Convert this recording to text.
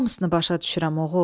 Hamısını başa düşürəm oğul.